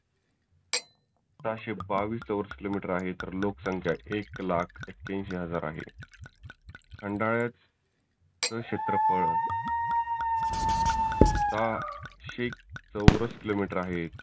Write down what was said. सहाशे बाविस चौरस किलो मिटर आहे तर लोक संख्या एक लाख एक्क्यांशी हजार आहे. खंडाळ्यात च क्षेत्रफळ सहाशे चौरस किलो मिटर आहे.